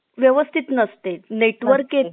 चालेल sir मंग. धन्यवाद sir माहिती सांगितल्याबद्दल.